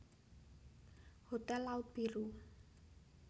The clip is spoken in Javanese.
Hotel Laut Biru